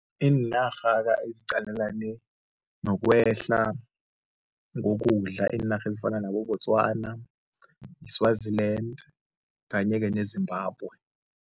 Iinarha kanye eziqalelane nokwehla ngokudla, iinarha ezifana nabo-Botswana, yi-Swaziland kanye-ke neZimbabwe.